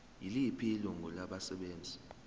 yiliphi ilungu labasebenzi